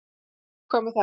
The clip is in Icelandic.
Nú, hvað með það?